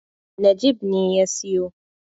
Najeeb ne ya siyo.